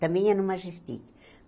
Também ia no Majestic.